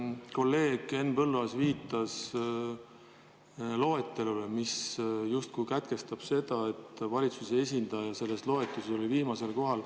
Kolleeg Henn Põlluaas viitas loetelule, mis justkui sätestab selle, et valitsuse esindaja viimasena.